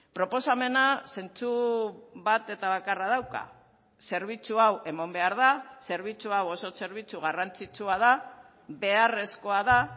proposamena zentsu bat eta bakarra dauka zerbitzu hau eman behar da zerbitzu hau oso zerbitzu garrantzitsua da beharrezkoa da